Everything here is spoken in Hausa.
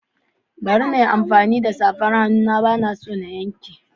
Bari na yi amfani da safar hannu na, ba na son yanke kaina.